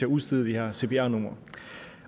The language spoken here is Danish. udstede de her cpr numre